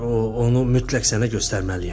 O onu mütləq sənə göstərməliyəm.